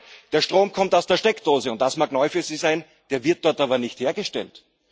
Liebe Grüne, der Strom kommt aus der Steckdose und das mag neu für Sie sein der wird dort aber nicht hergestellt.